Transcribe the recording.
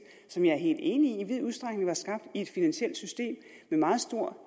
som jeg er helt enig i i vid udstrækning var skabt i et finansielt system med meget stor